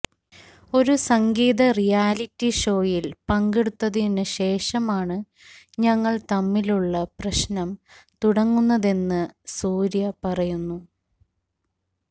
ഒരു സംഗീത റിയാലിറ്റി ഷോയിൽ പങ്കെടുത്തതിനു ശേഷമാണ് ഞങ്ങൾ തമ്മിലുള്ള പ്രശ്നം തുടങ്ങുന്നതെന്ന് സൂര്യ പറയുന്നു